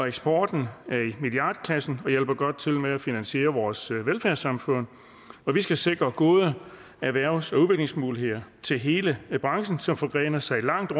eksporten er i milliardklassen og hjælper godt med til at finansiere vores velfærdssamfund og vi skal sikre gode erhvervs og udviklingsmuligheder til hele branchen som forgrener sig langt